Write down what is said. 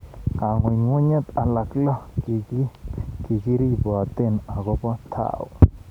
Kang'ung'unyet alak lo kikiriboten akobo Thao.